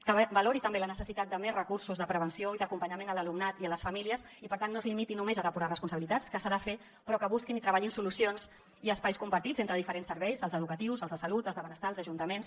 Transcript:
que valori també la necessitat de més recursos de prevenció i d’acompanyament a l’alumnat i a les famílies i per tant no es limiti només a depurar responsabilitats que s’ha de fer sinó que busquin i treballin solucions i espais compartits entre diferents serveis els educatius els de salut els de benestar els ajuntaments